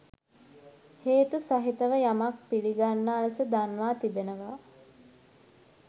හේතු සහිතව යමක් පිළිගන්නා ලෙස දන්වා තිබෙනවා.